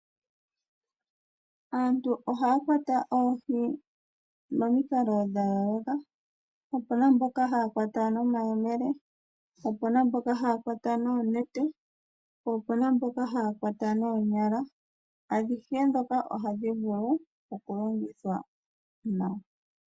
Aantu ohaya kwata oohi momikalo dha yooloka. Opuna mboka haya kwata nomayemele, opuna mboka haya kwata noonete po opuna mboka haya kwata noonyala. Adhihe ndhoka ohadhi vulu oku longithwa.